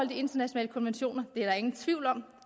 internationale konventioner det er der ingen tvivl om